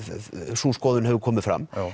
sú skoðun hefur komið fram